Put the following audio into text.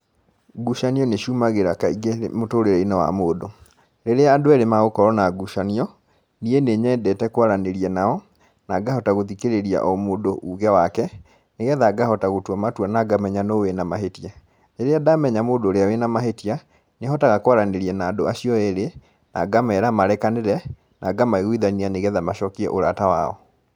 Ngucanio nĩ ciumagĩra kaingĩ mũtũrĩre-inĩ wa mũndũ. Rĩrĩa andũ erĩ magũkorwo na ngucanio, niĩ nĩ nyendete kwaranĩria nao, na ngahota gũthikĩrĩria o mũndũ uge wake, nĩgetha ngahota gũtua matua na ngamenya nũ wĩna mahĩtia. Rĩrĩa ndamenya mũndũ ũrĩa wĩna mahĩtia, nĩhotaga kwaranĩria na andũ acio erĩ, na ngamera marekanĩre, na ngamaiguithania nĩgetha macokie ũrata wao.